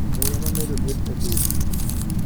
Muya mamedo liet epiny.